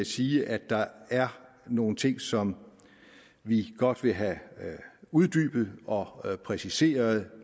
sige at der er nogle ting som vi godt vil have uddybet og præciseret